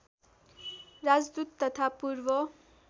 राजदूत तथा पूर्व